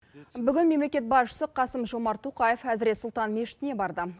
бүгін мемлекет басшысы қасым жомарт тоқаев әзірет сұлтан мешітіне барды